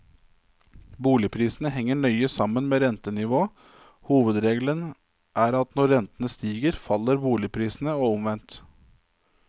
Boligprisene henger nøye sammen med rentenivået, hovedregelen er at når rentene stiger faller boligprisene, og omvendt.